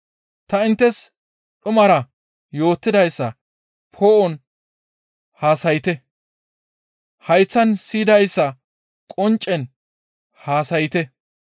Ta inttes dhumara yootidayssa poo7on haasayte; hayththan siyidayssa qonccen haasayte.